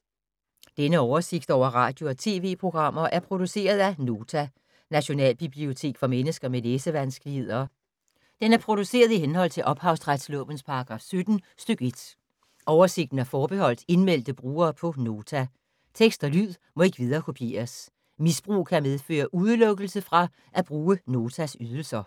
Denne oversigt over radio og TV-programmer er produceret af Nota, Nationalbibliotek for mennesker med læsevanskeligheder. Den er produceret i henhold til ophavsretslovens paragraf 17 stk. 1. Oversigten er forbeholdt indmeldte brugere på Nota. Tekst og lyd må ikke viderekopieres. Misbrug kan medføre udelukkelse fra at bruge Notas ydelser.